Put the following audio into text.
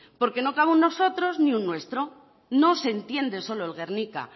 porque no cabe un nosotros ni un nuestro no se entiende solo el guernica